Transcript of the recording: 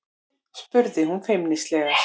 spurði hún feimnislega.